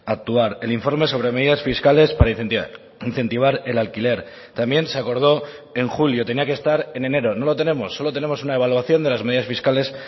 actuar el informe sobre medidas fiscales para incentivar el alquiler también se acordó en julio tenía que estar en enero no lo tenemos solo tenemos una evaluación de las medidas fiscales